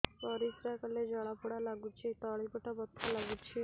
ପରିଶ୍ରା କଲେ ଜଳା ପୋଡା ଲାଗୁଚି ତଳି ପେଟ ବଥା ଲାଗୁଛି